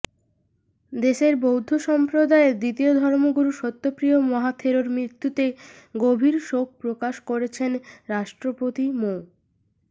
দেশের বৌদ্ধ সম্প্রদায়ের দ্বিতীয় ধর্মগুরু সত্যপ্রিয় মহাথেরোর মৃত্যুতে গভীর শোক প্রকাশ করেছেন রাষ্ট্রপতি মো